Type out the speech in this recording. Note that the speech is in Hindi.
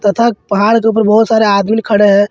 तथा पहाड़ के ऊपर बहोत सारे आदमीन खड़े हैं।